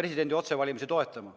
presidendi otsevalimist toetama.